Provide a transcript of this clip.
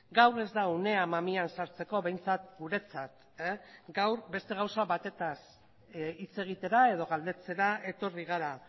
gaur ez da unea mamian sartzeko behintzat guretzat gaur beste gauza batetaz hitz egitera edo galdetzera etorri gara